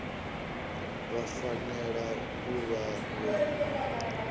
vha fanela u vha vho